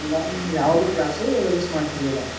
ಹಂಗಾಗಿ ಯಾವದು class miss ಮಾಡ್ತಿರ್ಲಿಲ್ಲ.